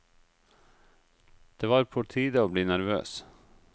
Det var på tide å bli nervøs.